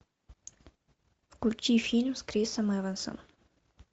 включи фильм с крисом эвансом